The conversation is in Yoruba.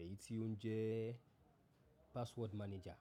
èyí tí ó ń jẹ́ password manager.